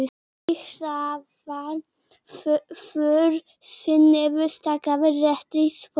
Beggi hraðar för sinni niður Strandgötuna léttari í spori.